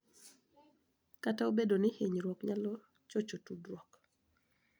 Kata obedo ni hinyruok nyalo chocho tudruok,